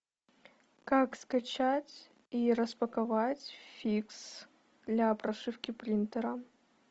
как скачать и распаковать фикс для прошивки принтера